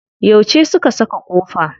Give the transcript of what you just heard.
Yauce su ka saka kofa?